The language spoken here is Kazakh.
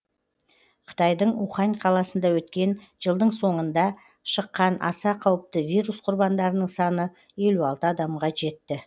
қытайдың ухань қаласында өткен жылдың соңында шыққан аса қауіпті вирус құрбандарының саны елу алты адамға жетті